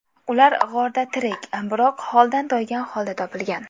Ular g‘orda tirik, biroq holdan toygan holda topilgan .